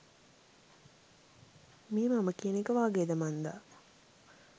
මේ මම කියන එක වගේද මන්දා.